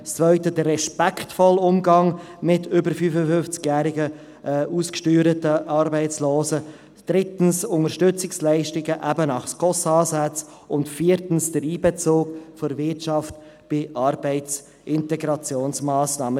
zweitens, den respektvollen Umgang mit über 55-jährigen ausgesteuerten Arbeitslosen; drittens, Unterstützungsleistungen eben nach SKOS-Ansätzen; und viertens, den Einbezug der Wirtschaft bei Arbeitsintegrationsmassnahmen.